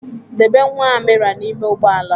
Debe nwa Amira n'ime ugbo ala.